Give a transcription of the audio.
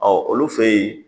Ɔ olu fɛ yen